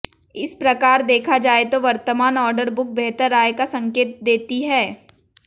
इस प्रकार देखा जाए तो वर्तमान ऑर्डर बुक बेहतर आय का संकेत देती है